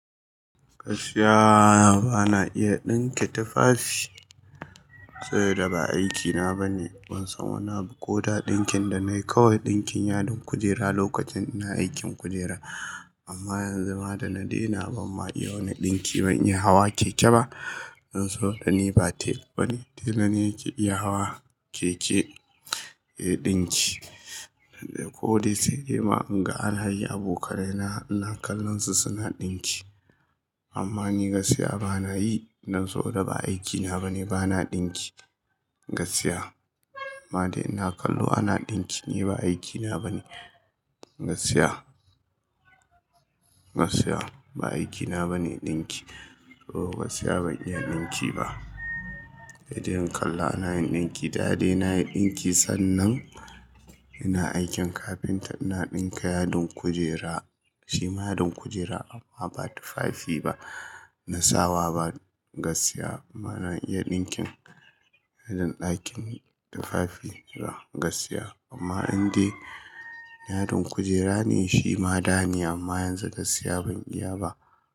Gaskiya ba na iya ɗinke tufafi, sabida ba aikina ba ne. Ban san wani abu ko da ɗinkin da na yi kawai ɗinkin yadin kujera lokacin ina aikin kujera. Amma yanzu ma da na daina ban ma iya wani ɗinki, ban iya hawa keke ba. Dan saboda ni ba tela ba ne. Tela ne yake iya hawa keke yayi ɗinki. Ko dai sai dai ma in ga anayi abokanai na, ina kallon su suna ɗinki. Amma ni gaskiya ba na yi, dan so da ba aikina ba ne, ba na ɗinki gaskiya. Ma dai ina kallo ana ɗinki ni ba aikina ba ne gaskiya. Gaskiya ba aikina ba ne ɗinki. To gaskiya ban iya ɗinki ba. Saidai in kalla ana yin ɗinki, da dai na yi ɗinki sannan ina aikin kafinta ina ɗinka yadin kujera. Shi ma yadin kujera amma ba tufafi ba. Na sawa ba gaskiya bana iya ɗinkin irin ɗakin tufafi gaskiya. Amma in dai yadin kujera ne shi ma da ni amma yanzu gaskiya ban iya ba.